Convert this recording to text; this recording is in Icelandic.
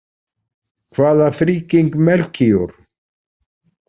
Hvaða friggíng Melkíor?